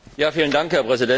Herr Präsident!